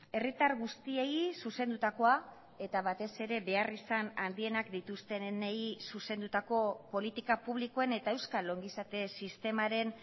herritar guztiei zuzendutakoa eta batez ere beharrizan handienak dituztenei zuzendutako politika publikoen eta euskal ongizate sistemaren